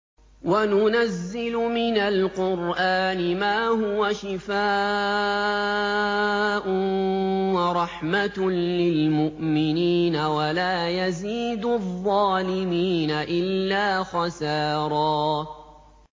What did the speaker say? وَنُنَزِّلُ مِنَ الْقُرْآنِ مَا هُوَ شِفَاءٌ وَرَحْمَةٌ لِّلْمُؤْمِنِينَ ۙ وَلَا يَزِيدُ الظَّالِمِينَ إِلَّا خَسَارًا